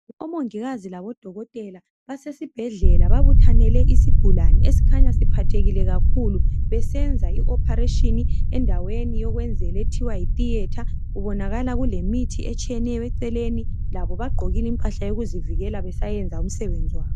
Omongikazi labodokotela basesibhedlela babuthanele isigulane esikhanya siphathekile kakhulu besenza i operation endaweni yokwenzela ethiwa yi theatre kubonakala kule mithi etshiyeneyo eceleni labo bagqokile impahla yokuzivikela besayenza umsebenzi wabo.